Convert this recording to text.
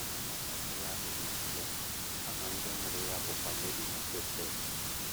Aha nwatakịrị ahụ bụ Jizọs, aha ndị mụrụ ya bụkwa Meri na Josef.